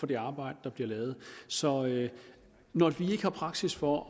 det arbejde der bliver lavet så når vi ikke har praksis for